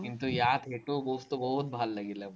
কিন্তু, ইয়াত সেইটো বস্তু বহুত ভাল লাগিলে।